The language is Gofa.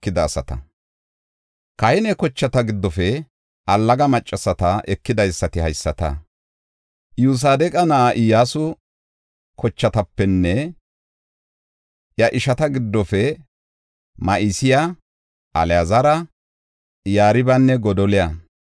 Kahine kochata giddofe allaga maccasata ekidaysati haysata; Iyosadeqa na7a Iyyasu kochatapenne iya ishata giddofe Ma7iseya, Alaazara, Yaribanne Godoliya.